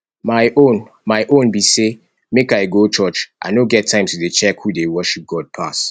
my own my own be say make i go church i no get time to dey check who dey worship god pass